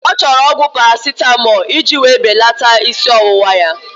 Ọ chọrọ ọgwụ Parasitamọlụ iji wéé belata ísí ọwụwa ya